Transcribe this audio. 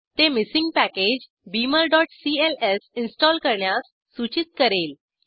ते missing package beamerसीएलएस install करण्यास सूचित करेल